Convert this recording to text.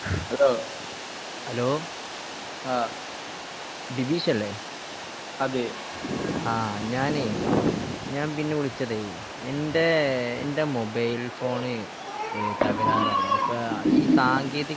Hello ആഹ് ബിബീഷ് അല്ലേ? ആഹ് ഞാനെയ് ഞാൻ പിന്നെ വിളിച്ചതെയ് എന്റെ എന്റെ മൊബൈൽ ഫോൺ ഏഹ് എന്താ ഇപ്പൊ ഈ സാങ്കേന്തിക വിദ്യ